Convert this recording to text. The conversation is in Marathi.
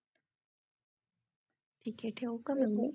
ठीक हे ठेऊ का मग मी